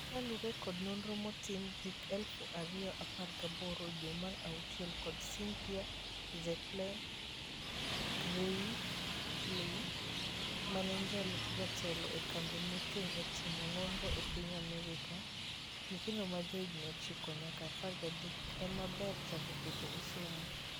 Kalure kod nonro manotim hik eluf ario apar gaboboro dwe mar auchiel kod Cynthia Zetler-Greelay, maen jalup jatelo e kambi mochung' e timo nonro e piny Amerka, nyithindo ma johigni ochiko nyaka apar gadek ema ber chako keto e somo.